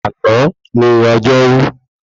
Àná ni ọjọ́rú